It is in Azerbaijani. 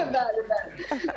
Bəli, bəli.